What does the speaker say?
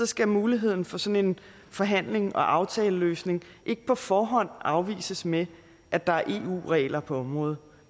skal muligheden for sådan en forhandling og aftaleløsning ikke på forhånd afvises med at der er eu regler på området